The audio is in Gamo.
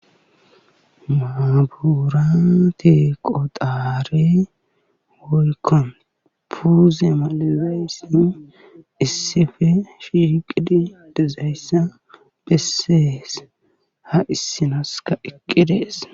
Maabirate qotare woykko fuze malizayssi issippe shiiqidi dizayssa besees. ha issi naskka eqqidees.